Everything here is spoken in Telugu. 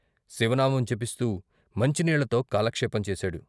శివనామం జపిస్తూ మంచినీళ్ళతో కాలక్షేపం చేశాడు.